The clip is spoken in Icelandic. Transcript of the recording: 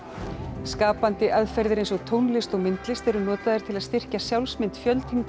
skapandi aðferðir eins og tónlist og myndlist eru notaðar til að styrkja sjálfsmynd